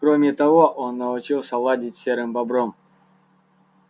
кроме того он научился ладить с серым бобром